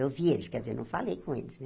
Eu vi eles, quer dizer, não falei com eles, né?